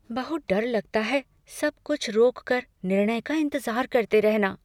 बहुत डर लगता है सब कुछ रोक कर निर्णय का इंतजार करते रहना।